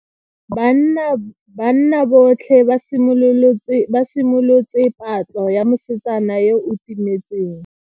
Banna botlhe ba simolotse patlo ya mosetsana yo o timetseng.